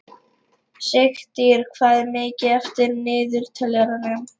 Sigtýr, hvað er mikið eftir af niðurteljaranum?